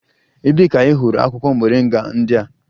Ebee ka ị hụrụ akwụkwọ moringa ndị a?